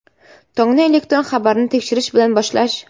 Tongni elektron xabarni tekshirish bilan boshlash.